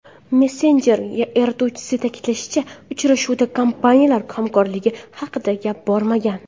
Messenjer yaratuvchisi ta’kidlashicha, uchrashuvda kompaniyalar hamkorligi haqida gap bormagan.